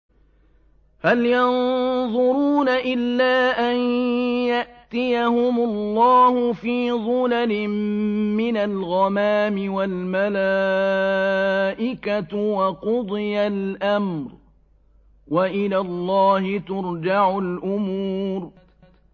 هَلْ يَنظُرُونَ إِلَّا أَن يَأْتِيَهُمُ اللَّهُ فِي ظُلَلٍ مِّنَ الْغَمَامِ وَالْمَلَائِكَةُ وَقُضِيَ الْأَمْرُ ۚ وَإِلَى اللَّهِ تُرْجَعُ الْأُمُورُ